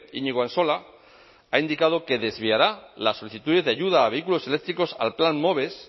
iñigo ansola ha indicado que desviará las solicitudes de ayuda a vehículos eléctricos al plan moves